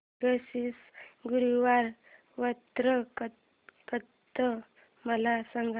मार्गशीर्ष गुरुवार व्रत कथा मला सांग